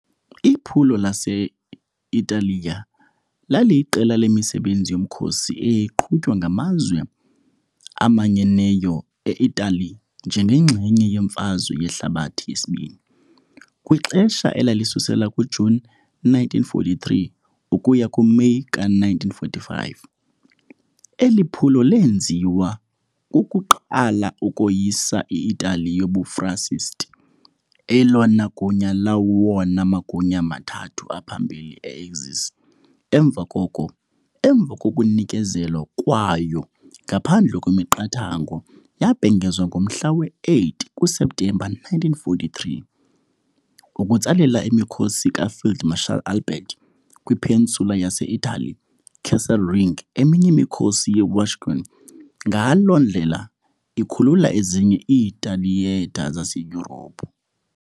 Iphulo lase-Italiya laliyiqela lemisebenzi yomkhosi eyayiqhutywa ngaMazwe Amanyeneyo eItali njengenxalenye yeMfazwe Yehlabathi yesiBini, kwixesha elisusela kuJuni 1943 ukuya kuMeyi ka -1945, Eli phulo lenziwa kuqala ukoyisa i-Italiya yobuFascist, elona gunya lawona magunya mathathu aphambili e-Axis, emva koko, emva kokunikezelwa kwayo ngaphandle kwemiqathango yabhengezwa ngomhla wesi-8 kuSeptemba 1943, ukutsalela imikhosi kaField Marshal Albert kwi-peninsula yase-Italian Kesselring eminye imikhosi ye- Wehrmacht, ngaloo ndlela ikhulula ezinye iithiyetha zaseYurophu.